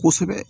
Kosɛbɛ